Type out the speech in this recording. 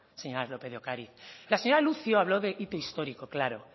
señora lópez de ocariz la señora lucio habló de hito histórico claro